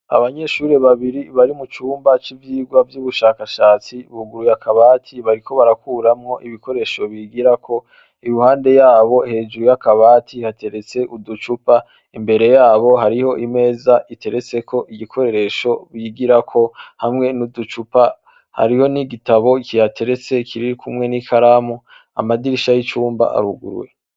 Abanyeshuri babiri bari mu cumba c'ivyirwa vy'ubushakashatsi buguru yakabati bariko barakuramwo ibikoresho bigira ko iruhande yabo hejuru y'akabati hateretse uducupa imbere yabo hariho imeza iteretseko igikoreresho bigirako hamwe n'uducupa hariho n' igitabo ikihatia eretse kiriri kumwe n'i karamu amadirisha y'icumba arugurwe.